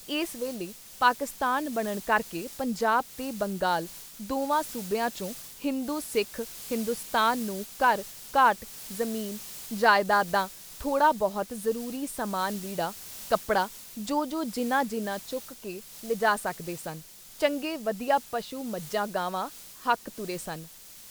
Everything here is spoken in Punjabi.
ਇਸ ਵੇਲ਼ੇ ਪਾਕਿਸਤਾਨ ਬਣਨ ਕਰਕੇ ਪੰਜਾਬ ਤੇ ਬੰਗਾਲ ਦੋਵਾਂ ਸੂਬਿਆਂ ਚੋਂ ਹਿੰਦੂ-ਸਿੱਖ ਹਿੰਦੂਸਤਾਨ ਨੂੰ ਘਰ, ਘਾਟ, ਜ਼ਮੀਨ, ਜ਼ਾਇਦਾਦਾਂ ਥੋੜ੍ਹਾ ਬਹੁਤ ਜ਼ਰੂਰੀ ਸਾਮਾਨ ਲੀੜਾ, ਕੱਪੜਾ ਜੋ ਜੋ ਜਿੰਨਾਂ ਜਿੰਨਾਂ ਚੁਕ ਕੇ ਲਿਜਾ ਸਕਦੇ ਸਨ, ਚੰਗੇ ਵਧੀਆ ਪਸ਼ੂ ਮੱਝਾਂ, ਗਾਵਾਂ ਹੱਕ ਤੁਰੇ ਸਨ।